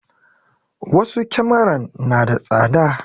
Wasu kyamaran na da tsada